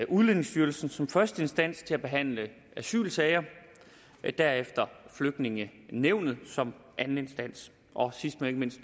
udlændingestyrelsen som første instans til at behandle asylsager og derefter flygtningenævnet som anden instans og sidst men ikke mindst